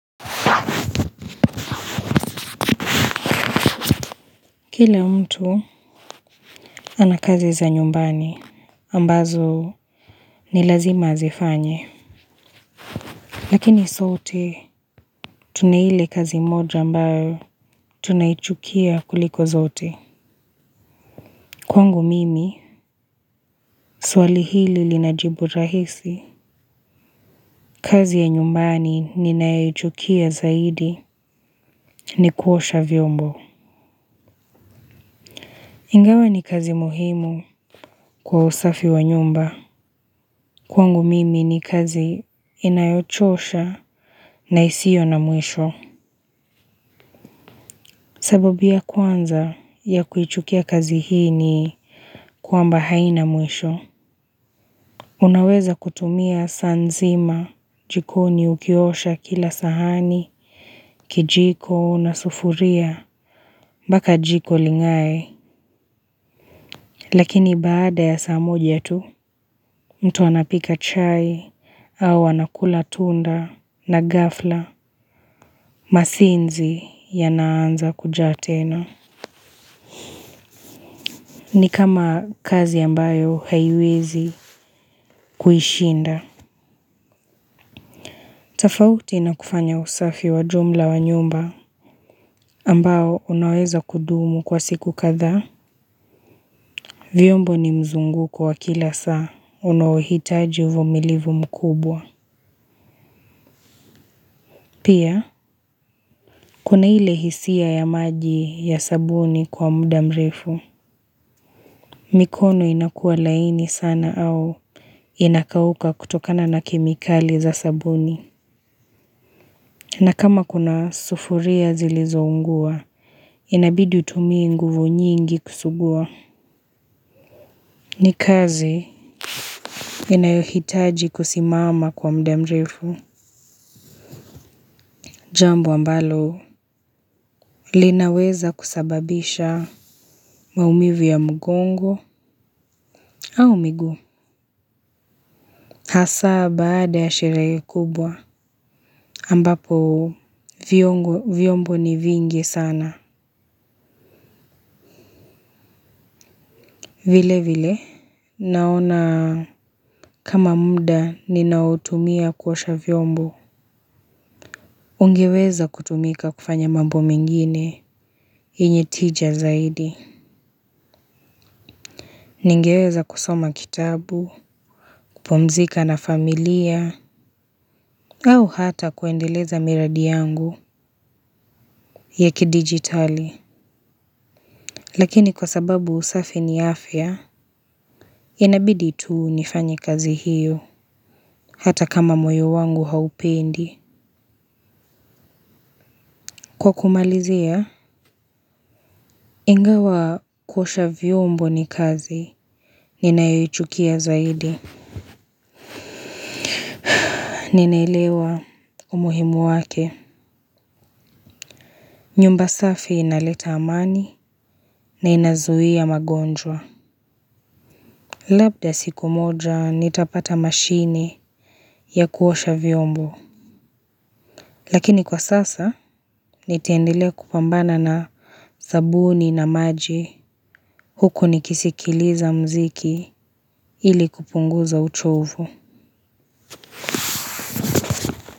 Kila mtu anakazi za nyumbani ambazo ni lazima azifanye. Lakini sote tuna ile kazi moja ambayo tunayichukia kuliko zote. Kwangu mimi swali hili linajibu rahisi kazi ya nyumbani ninayichukia zaidi ni kuosha vyombo. Ingawa ni kazi muhimu kwa usafi wa nyumba. Kwangu mimi ni kazi inayochosha na isio na mwisho. Sababu ya kwanza ya kuichukia kazi hii ni kwamba haina mwisho. Unaweza kutumia saa nzima jikoni ukiosha kila sahani, kijiko, na sufuria, mbaka jiko lingaye, lakini baada ya saamoja tu, mtu anapika chai au anakula tunda na gafla, masinzi yanaanza kujatena. Ni kama kazi ambayo haiwezi kuhishinda. Tafauti na kufanya usafi wa jumla wa nyumba ambao unaweza kudumu kwa siku kadha. Vyombo ni mzunguko wa kila saa. Unaohitaji uvumilivu mkubwa. Pia, kuna ile hisia ya maji ya sabuni kwa muda mrefu. Mikono inakua laini sana au inakauka kutokana na kemikali za sabuni. Na kama kuna sufuria zilizoungua, inabidi utumie nguvu nyingi kusugua. Ni kazi inayohitaji kusimama kwa muda mrefu. Jambo ambalo linaweza kusababisha maumivu ya mgongo au miguu. Hasa baada ya shirehe kubwa ambapo vyombo ni vingi sana. Vile vile, naona kama muda ninaotumia kuwosha vyombo. Ungiweza kutumika kufanya mambo mengine, yenye tija zaidi. Ningeweza kusoma kitabu, kupumzika na familia, au hata kuendeleza miradi yangu ya kidigitali. Lakini kwa sababu usafi ni afya, inabidi tu nifanyi kazi hiyo, hata kama moyo wangu haupendi. Kwa kumalizia, ingawa kuosha vyombo ni kazi, ninayoichukia zaidi. Ninaelewa umuhimu wake. Nyumba safi inaleta amani na inazuhia magonjwa. Labda siku moja, nitapata mashini ya kuosha vyombo. Lakini kwa sasa, nitaendelea kupambana na sabuni na maji huku nikisikiliza mziki ili kupunguza uchovu.